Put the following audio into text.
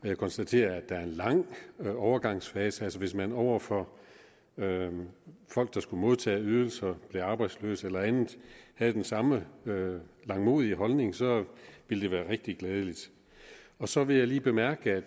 jeg konstaterer at der er en lang overgangsfase altså hvis man over for folk der skulle modtage ydelser blev arbejdsløs eller andet havde den samme langmodige holdning så ville det være rigtig glædeligt så vil jeg lige bemærke